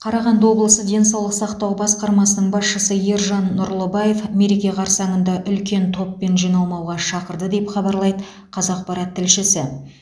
қарағанды облысы денсаулық сақтау басқармасының басшысы ержан нұрлыбаев мереке қарсаңында үлкен топпен жиналмауға шақырды деп хабарлайды қазақпарат тілшісі